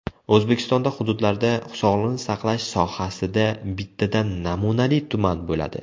O‘zbekistonda hududlarda sog‘liqni saqlash sohasida bittadan namunali tuman bo‘ladi.